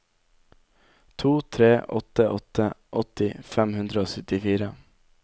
to tre åtte åtte åtti fem hundre og syttifire